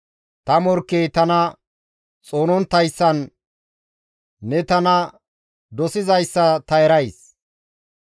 Ta morkkey tana xoononttayssan ne tana dosizayssa ta erays.